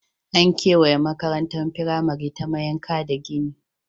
An kewaye makarantar firamare ta mayanka da gini.